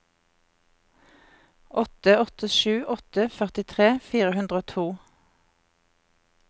åtte åtte sju åtte førtitre fire hundre og to